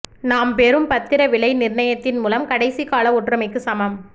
நாம் பெறும் பத்திர விலை நிர்ணயத்தின் மூலம் கடைசி கால ஒற்றுமைக்கு சமம்